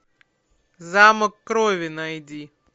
замок крови найди